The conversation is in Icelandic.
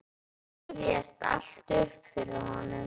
Þetta rifjast allt upp fyrir honum.